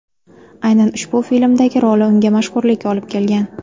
Aynan ushbu filmdagi roli unga mashhurlik olib kelgan.